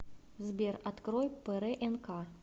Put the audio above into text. сбер открой прнк